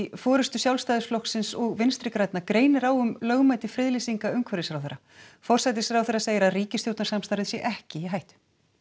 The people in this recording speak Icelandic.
forystu Sjálfstæðisflokksins og Vinstri grænna greinir á um lögmæti friðlýsinga umhverfisráðherra forsætisráðherra segir að ríkisstjórnarsamstarfið sé ekki í hættu